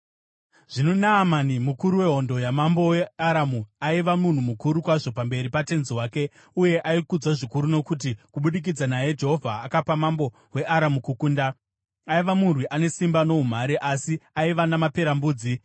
Zvino Naamani, mukuru wehondo yamambo weAramu, aiva munhu mukuru kwazvo pamberi patenzi wake uye aikudzwa zvikuru, nokuti kubudikidza naye, Jehovha akapa mambo weAramu kukunda. Aiva murwi ane simba noumhare, asi aiva namaperembudzi.